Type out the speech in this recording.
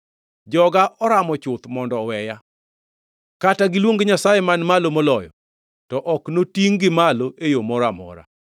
Joga oramo chuth mondo oweya. Kata giluong Nyasaye Man Malo Moloyo, to ok notingʼ-gi malo e yo moro amora.